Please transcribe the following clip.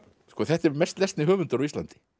þetta er mest lesni höfundur á Íslandi